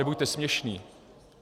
Nebuďte směšný.